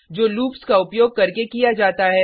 जो लूप्स का उपयोग करके किया जाता है